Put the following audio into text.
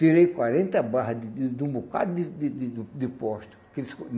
Tirei quarenta barra de de de um bocado de de de de um de posto, que eles.